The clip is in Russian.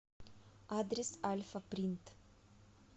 адрес альфа принт